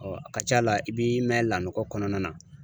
a ka c'a la i bi mɛn lanɔgɔ kɔnɔna na.